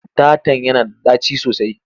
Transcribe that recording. Ɗatan yana da ɗaci sosai.